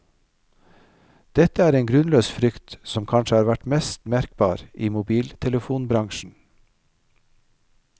Dette er en grunnløs frykt som kanskje har vært mest merkbar i mobiltelefonbransjen.